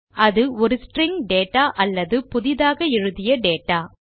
அது ஒரு string data அல்லது புதிதாக எழுதிய டேட்டா